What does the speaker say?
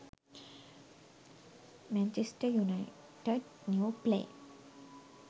manchester united new play